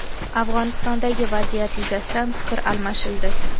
Afg‘onistondagi vaziyat yuzasidan fikr almashildi.